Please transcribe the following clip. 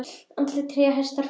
Andlit, tré, hestar, fuglar.